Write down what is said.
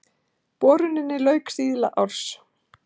Boruninni lauk síðla árs